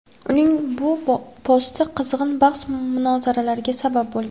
Uning bu posti qizg‘in bahs-munozaralarga sabab bo‘lgan.